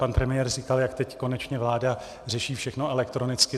Pan premiér říkal, jak teď konečně vláda řeší všechno elektronicky.